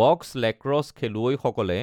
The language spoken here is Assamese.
বক্স লেক্ৰছ খেলুৱৈসকলে